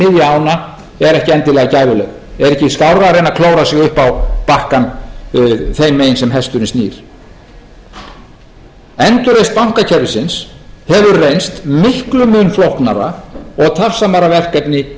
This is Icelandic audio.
ána er ekki endilega gæfuleg er ekki skárra að reyna að klóra sig upp á bakkann þeim megin sem hesturinn snýr endurreisn bankakerfisins hefur reynst miklum mun flóknara og tafsamara verkefni